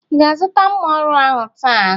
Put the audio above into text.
Ị ga-azụta mma ọrụ ahụ taa?